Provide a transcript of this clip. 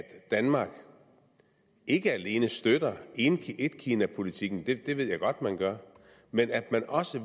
danmark ikke alene støtter etkinapolitikken det ved jeg godt man gør men at man også